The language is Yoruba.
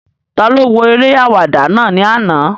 Taló wo eré àwàdà náà ní àná?